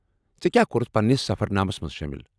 ژےٚ کیٛاہ کوٚرٗتھ پنٛنس سفرنامس منٛز شٲمل؟